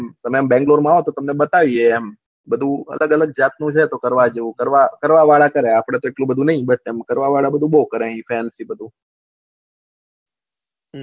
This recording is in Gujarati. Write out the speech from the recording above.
તમે બેંગ્લોર માં આવો તો તમને બતાયીયે એમ બધું અલગ અલગ જાત નું છે તો કરવા જેવું કરવા વાળા કરે આપળે તો એટલું બધું નહી બસ એમ કરવા વાળા બધું કરે પ્રેમ થી બધું